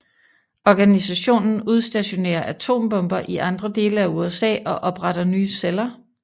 Organisationen udstationerer atombomber i andre dele af USA og opretter nye celler